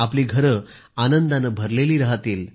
आपली घरे आनंदाने भरलेली राहतील